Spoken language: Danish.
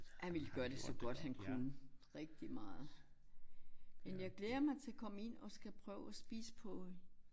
Han ville gøre det så godt han kunne. Rigtig meget. Men jeg glæder mig til at komme ind og skal prøve at spise på